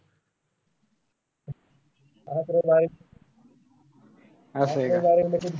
असय का.